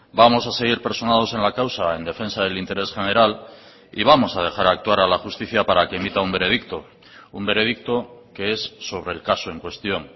vamos a seguir personados en la causa en defensa del interés general y vamos a dejar actuar a la justicia para que emita un veredicto un veredicto que es sobre el caso en cuestión